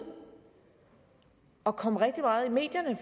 og faktisk kom rigtig meget i medierne